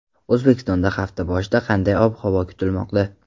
O‘zbekistonda hafta boshida qanday ob-havo kutilmoqda?.